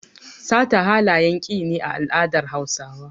Sata halayen ki ne a al'adar Hausawa.